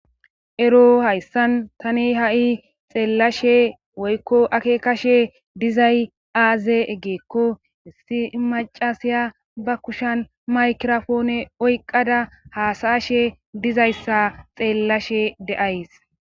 ero hayssan tani ha7i xeellashe woykko ake kashe dizay aaze eggeekko issi macasiya ba kushan maykirofoone oyqada haasayashe dizayssa xeellashe deays